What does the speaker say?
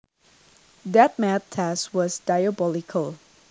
That math test was diabolical